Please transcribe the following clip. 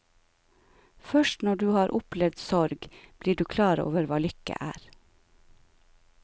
Først når du har opplevd sorg, blir du klar over hva lykke er.